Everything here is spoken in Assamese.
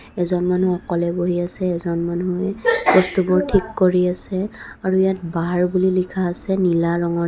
এজন মানুহ অকলে বহি আছে এজন মানুহে বস্তুবোৰ ঠিক কৰি আছে আৰু ইয়াত বাৰ বুলি লিখা আছে নীলা ৰঙেৰে.